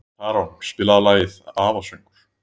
Tarón, spilaðu lagið „Afasöngur“.